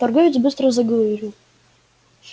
торговец быстро заговорил